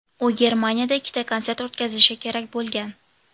U Germaniyada ikkita konsert o‘tkazishi kerak bo‘lgan.